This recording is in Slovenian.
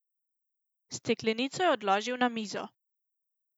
Steklenico je odložil na mizo.